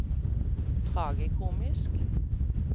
tragikomiske